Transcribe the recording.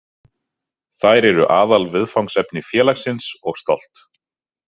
Þær eru aðalviðfangsefni félagsins og stolt.